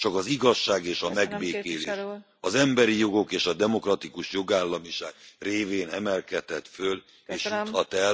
Csak az igazság és a megbékélés, az emberi jogok és a demokratikus jogállamiság révén emelkedhet föl és juthat el az egyesült Európába.